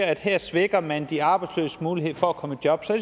at her svækker man de arbejdsløses mulighed for at komme i job så